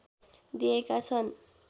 दिएका छन्